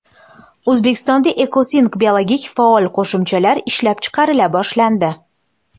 O‘zbekistonda Ecosink biologik faol qo‘shimchalar ishlab chiqarila boshlandi.